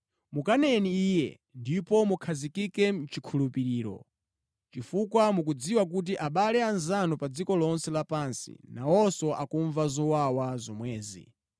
Mukaneni iye, ndipo mukhazikike mʼchikhulupiriro, chifukwa mukudziwa kuti abale anzanu pa dziko lonse lapansi nawonso akumva zowawa zomwezi.